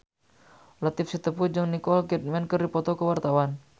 Latief Sitepu jeung Nicole Kidman keur dipoto ku wartawan